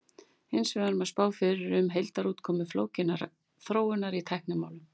hins vegar má spá fyrir um heildarútkomu flókinnar þróunar í tæknimálum